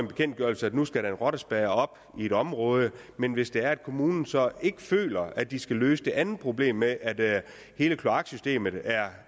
bekendtgørelse at nu skal en rottespærre op i et område men hvis det er sådan at kommunen så ikke føler at de skal løse det andet problem med at hele kloaksystemet er